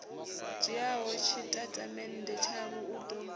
dzhiaho tshitatamennde tshavho u ḓo